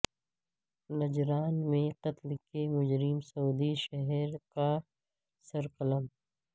نجران میں قتل کے مجرم سعودی شہری کا سر قلم